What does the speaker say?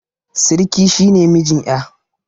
Siriki shi ne mijin ƴa